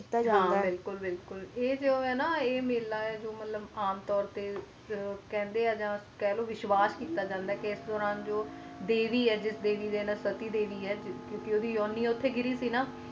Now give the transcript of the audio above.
ਆਏ ਜ਼ੀਰਾ ਹੈ ਨਾ ਆਏ ਮੈਲਾ ਹੈ ਜੋ ਆਮ ਤੋਰ ਦੇ ਵਿਚ ਕਹਿ ਲੋ ਆ ਕਹਿੰਦੇ ਹੈ ਵਿਸ਼ਵਾਸ ਕਿੱਤਾ ਜਾਂਦਾ ਹੈ ਕ ਇਸ ਦੂਰਾਂ ਦੇਵੀ ਹੈ ਜੋ ਸਤੀ ਦੇਵੀ ਹੈ ਕਿ ਕ ਉਸ ਦੀ ਆਉਣੀ ਉਥੇ ਗਿਰੀ ਸੀ ਨਾ